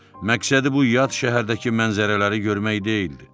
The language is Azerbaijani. Məqsədi bu yad şəhərdəki mənzərələri görmək deyildi.